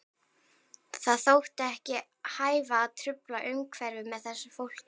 Það þótti ekki hæfa að trufla umhverfið með þessu fólki.